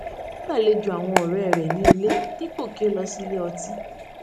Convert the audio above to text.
ó gbàlejò àwọn ọ̀rẹ́ rẹ̀ ní ilé dípò kí ó lọ sí ilé ọtí